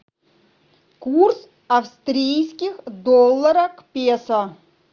курс австрийских долларов к песо